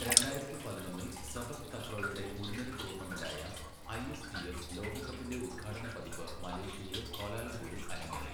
രണ്ടായിരത്തി പതിനൊന്നില്, സെപക് തക്രോയുടെ മുൻനിര ടൂർണമെന്റായ ഐ.എസ്.ടി.എഫ് ലോകകപ്പിന്റെ ഉദ്ഘാടന പതിപ്പ് മലേഷ്യയിലെ ക്വാലാലംപൂരിൽ അരങ്ങേറി.